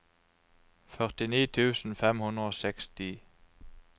førtini tusen fem hundre og seksti